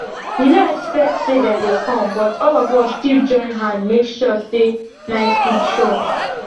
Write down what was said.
we no expect say dem go come but all of us still join hand make sure say night food sure